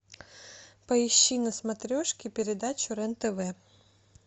поищи на смотрешке передачу рен тв